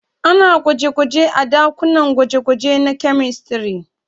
Ana gwaje-gwanje a ɗakunan gwaje-gwaje na kyamistare.